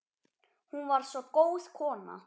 Hún var svo góð kona